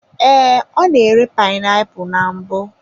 Ee, ọ na-ere painiapulu na mbụ.